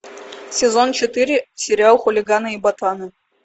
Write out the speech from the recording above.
сезон четыре сериал хулиганы и ботаны